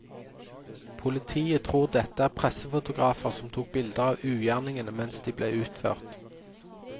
Politiet tror dette er pressefotografer som tok bilder av ugjerningene mens de ble utført.